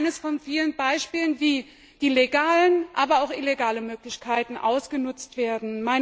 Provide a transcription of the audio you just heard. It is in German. Das ist eines von vielen Beispielen, wie die legalen, aber auch die illegalen Möglichkeiten ausgenutzt werden.